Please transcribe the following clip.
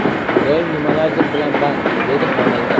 Doim nimalardir bilan band”, dedi xonanda.